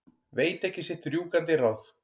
Veit ekki sitt rjúkandi ráð.